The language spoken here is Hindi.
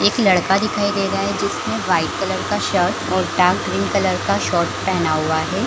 एक लड़का दिखाईं दे रहा है जिसने वाइट कलर का शर्ट और पैंट ग्रीन कलर का शॉर्ट पहना हुआ है।